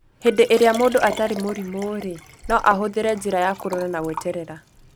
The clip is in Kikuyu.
Hĩndĩ ĩrĩa mũndũ atarĩ mũrimũ-rĩ, no ahũthĩre njĩra ya kũrora na gweterera